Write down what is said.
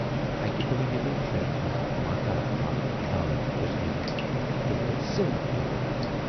اکہِ دۅہ ییلہِ شُرٮ۪ن ہٕنز ماتا مالٕچ نانۍ گُذرییہِ تہٕ تِم گٔیہِ سٲری تور۔